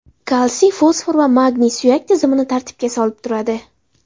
Kalsiy, fosfor va magniy suyak tizimini tartibga solib turadi.